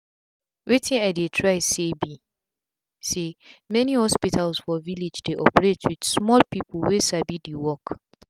wetin i dey try say bi say many hospitals for village dey operate with small people wey sabi the work.